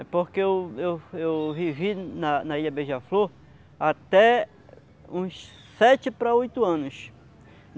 É porque eu eu eu vivi na na Ilha Beija-Flor até uns sete para oito anos.